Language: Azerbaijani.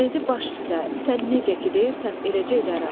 Dedi: "Baş üstə, sən necə ki deyirsən, eləcə edərəm.